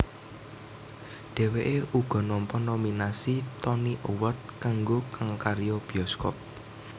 Dhèwèké uga nampa nominasi Tony Award kanggo kang karya bioskop